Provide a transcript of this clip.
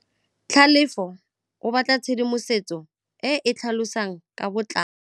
Tlhalefô o batla tshedimosetsô e e tlhalosang ka botlalô.